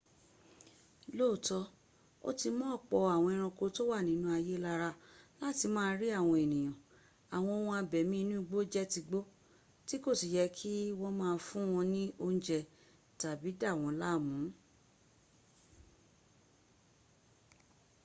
lóòtọ́ ó ti mọ́ ọ̀pọ̀ àwọn ẹranko tó wà nínú ààyè lára láti má a rí àwọn èèyàn àwọn ohun abẹ̀mí inú igbó jẹ́ tigbó tí kò si yẹ kí wọ́n má a fún wọn ní oúnjẹ́ tàbí dàwọn láàmùn